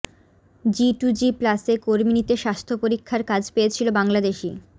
G to G প্লাসে কর্মী নিতে স্বাস্থ্য পরীক্ষার কাজ পেয়েছিল বাংলাদেশি